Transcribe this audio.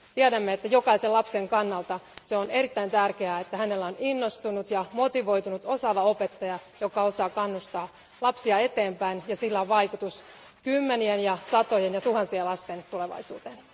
Tiedämme, että jokaisen lapsen kannalta on erittäin tärkeää, että hänellä on innostunut, motivoitunut ja osaava opettaja, joka osaa kannustaa lapsia eteenpäin, ja sillä on vaikutus kymmenien, satojen ja tuhansien lasten tulevaisuuteen.